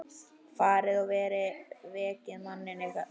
Farið og vekið manninn yðar.